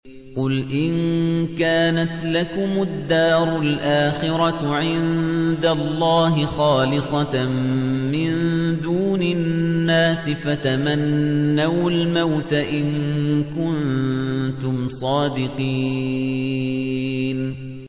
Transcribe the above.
قُلْ إِن كَانَتْ لَكُمُ الدَّارُ الْآخِرَةُ عِندَ اللَّهِ خَالِصَةً مِّن دُونِ النَّاسِ فَتَمَنَّوُا الْمَوْتَ إِن كُنتُمْ صَادِقِينَ